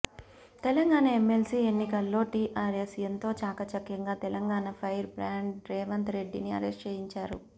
Telangana MLC ఎన్నికల్లో టీఆర్ఎస్ ఎంతో చాకచక్యంగా తెలంగాణ ఫైర్ బ్రాండ్ రేవంత్ రెడ్డిని అరెస్ట్ చేయించారు